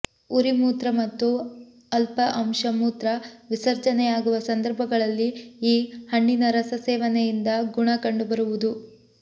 ಉರಿ ಮೂತ್ರ ಮತ್ತು ಅಲ್ಪ ಅಂಶ ಮೂತ್ರ ವಿಸರ್ಜನೆಯಾಗುವ ಸಂಧರ್ಭಗಳಲ್ಲಿ ಈ ಹಣ್ಣಿನ ರಸ ಸೇವನೆ ಇಂದ ಗುಣ ಕಂಡುಬರುವುದು